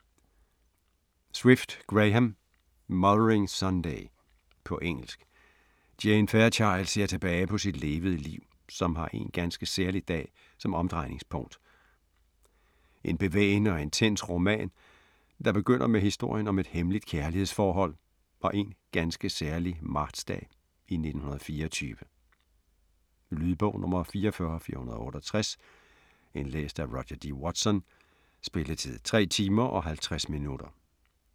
Swift, Graham: Mothering Sunday På engelsk. Jane Fairchild ser tilbage på sit levede liv, som har én ganske særlig dag som omdrejningspunkt. En bevægende og intens roman, der begynder med historien om et hemmeligt kærlighedsforhold og én ganske særlig martsdag i 1924. Lydbog 44468 Indlæst af Roger D. Watson Spilletid: 3 timer, 50 minutter.